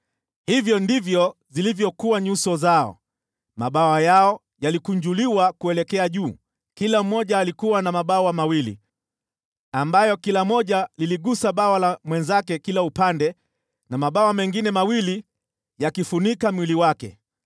Hivyo ndivyo zilivyokuwa nyuso zao. Mabawa yao yalikunjuliwa kuelekea juu, kila mmoja alikuwa na mabawa mawili ambayo kila moja liligusa bawa la mwenzake kila upande na mabawa mengine mawili yakifunika mwili wake.